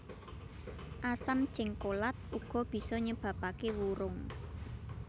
Asam jéngkolat uga bisa nyebabaké wurung